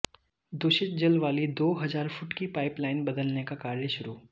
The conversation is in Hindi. दूषित जल वाली दो हजार फुट की पाइप लाइन बदलने का कार्य शुरू